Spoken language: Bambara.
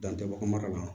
Dan tɛ bɔ mara la